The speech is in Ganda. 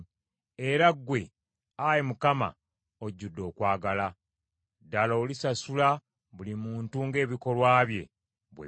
era ggwe, Ayi Mukama, ojjudde okwagala. Ddala olisasula buli muntu ng’ebikolwa bye bwe biri.